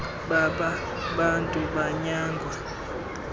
baba bantu banyangwa